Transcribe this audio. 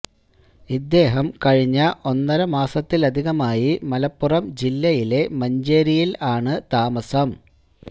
ഇദ്ദേഹം കഴിഞ്ഞ ഒന്നര മാസത്തിലധികമായി മലപ്പുറം ജില്ലയിലെ മഞ്ചേരിയിൽ ആണ് താമസം